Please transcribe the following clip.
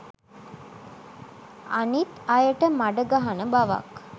අනිත් අයට මඩ ගහන බවක්